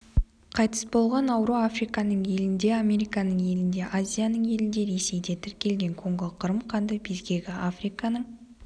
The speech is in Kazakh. қайтыс болған ауру афириканың елінде американың елінде азияның елінде ресейде тіркелген конго-қырым қанды безгегі африканың